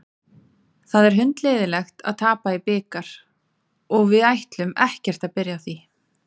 Það er hundleiðinlegt að tapa í bikar og við ætlum ekkert að byrja á því.